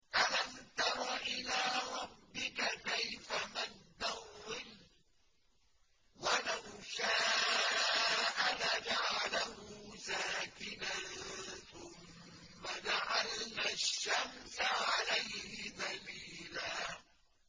أَلَمْ تَرَ إِلَىٰ رَبِّكَ كَيْفَ مَدَّ الظِّلَّ وَلَوْ شَاءَ لَجَعَلَهُ سَاكِنًا ثُمَّ جَعَلْنَا الشَّمْسَ عَلَيْهِ دَلِيلًا